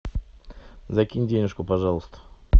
закинь денюжку пожалуйста